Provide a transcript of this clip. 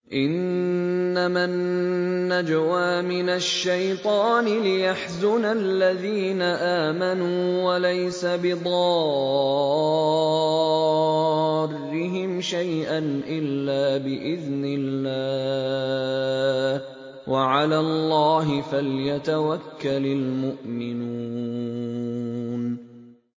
إِنَّمَا النَّجْوَىٰ مِنَ الشَّيْطَانِ لِيَحْزُنَ الَّذِينَ آمَنُوا وَلَيْسَ بِضَارِّهِمْ شَيْئًا إِلَّا بِإِذْنِ اللَّهِ ۚ وَعَلَى اللَّهِ فَلْيَتَوَكَّلِ الْمُؤْمِنُونَ